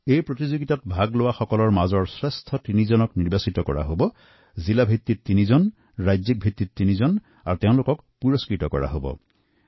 এই প্ৰতিযোগিতাত অংশগ্ৰহণকাৰীসকলৰ মাজৰ পৰা জিলা পৰ্যায়ত তিনিজন আৰু ৰাজ্যিক পৰ্যায়ত তিনিজনক নিৰ্বাচিত কৰা হব আৰু পুৰস্কৃত কৰা হব